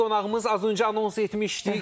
Az öncə anons etmişdik.